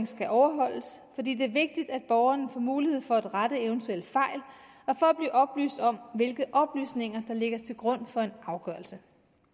skal overholdes fordi det er vigtigt at borgerne får mulighed for at rette eventuelle fejl og for at blive oplyst om hvilke oplysninger der ligger til grund for en afgørelse